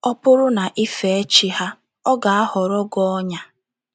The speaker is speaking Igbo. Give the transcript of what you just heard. Ọ bụrụ na ị fee chi ha, ọ ga - aghọrọ gị ọnyà. ”